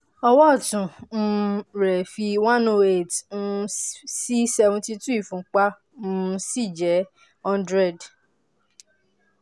ọwọ́ ọ̀tún um rẹ̀ fi one hundred eight um sí seventy two ìfúnpá um sì jẹ́ one hundred